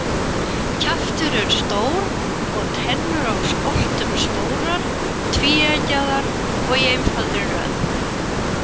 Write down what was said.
Kjaftur er stór og tennur á skoltum stórar, tvíeggjaðar og í einfaldri röð.